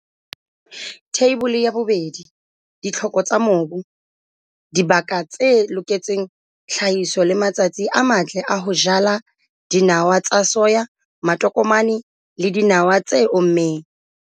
Theibole ya 2. Ditlhoko tsa mobu, dibaka tse loketseng tlhahiso le matsatsi a matle a ho jala dinawa tsa soya, matokomane le dinawa tse ommeng.